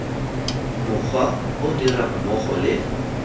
mokgwa o dirang mmogo le